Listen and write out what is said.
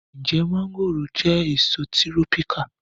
Ǹjẹ́ mọ́ngòròjẹ́ èso tírọ́píkà